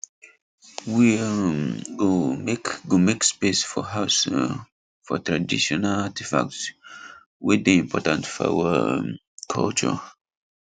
we um go make go make space for house um for traditional artifact way day important for our um culture